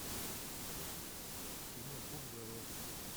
кино куб зеро